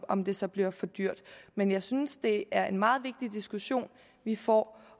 om det så bliver for dyrt men jeg synes at det er en meget vigtig diskussion vi får